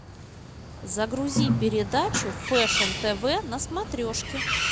загрузи передачу фэшн тв на смотрешке